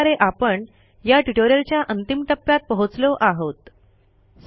अशा प्रकारे आपण या ट्युटोरियलच्या अंतिम टप्प्यात पोहोचलो आहोत